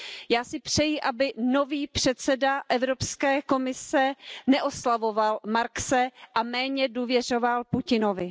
Já si přeji, aby nový předseda Evropské komise neoslavoval Marxe a méně důvěřoval Putinovi.